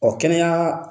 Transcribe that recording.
Ɔ kɛnɛya